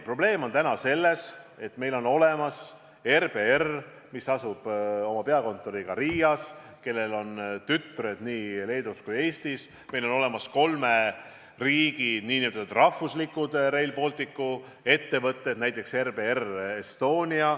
Probleem on täna selles, et meil on olemas RBR, mille peakontor asub Riias ja millel on tütred nii Leedus kui ka Eestis, ning meil on olemas kolme riigi nn rahvuslikud Rail Balticu ettevõtted, näiteks RBR Estonia.